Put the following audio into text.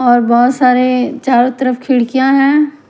और बहुत सारे चारों तरफ खिड़कियां हैं।